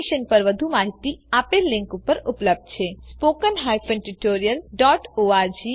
આ મિશન પર વધુ માહીતી આપેલ લીંક પર ઉપલબ્ધ છે httpspoken tutorialorgNMEICT Intro આ રીતે આ ટ્યુટોરીયલનો અંત થાય છે